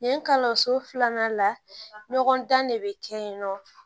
Yen kalo so filanan la ɲɔgɔn dan de be kɛ yen nɔ